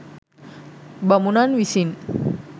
බමුණන් විසින්